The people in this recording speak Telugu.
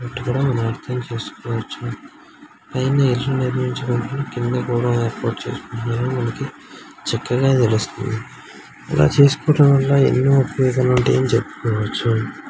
మనం అర్థం చేసుకోవచ్చు పైన ఇల్లు నిర్మించుకున్నారు కింద కూడా ఏర్పాటు చేసుకున్నారు ఓకే చక్కగా కనిపిస్తుంది. ఇలా చేసుకుంటా --